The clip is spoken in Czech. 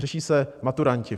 Řeší se maturanti.